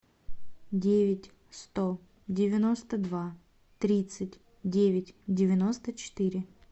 девять сто девяносто два тридцать девять девяносто четыре